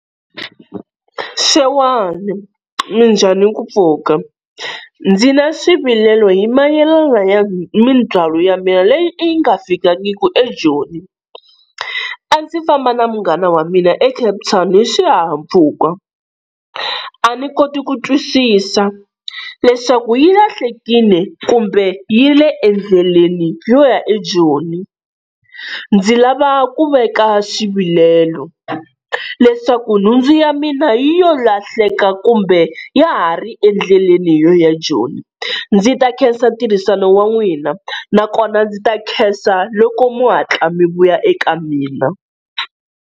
Xewani minjhani ku pfuka, ndzi na swivilelo hi mayelana ya mindzwalo ya mina leyi yi nga fikangiku eJoni. A ndzi famba na munghana wa mina eCape Town hi swihahampfhuka, a ndzi koti ku twisisa leswaku yi lahlekile kumbe yi le endleleni yo ya eJoni. Ndzi lava ku veka xivilelo leswaku nhundzu ya mina yi yo lahleka kumbe ya ha ri endleleni yo ya Joni ndzi ta khensa tirhisano wa n'wina nakona ndzi ta khensa loko mo hatla mi vuya eka mina.